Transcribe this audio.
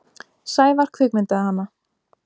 Sævar kvikmyndaði hana.